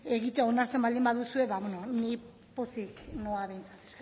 egiten onartzen baldin baduzu ni pozik noa behintzat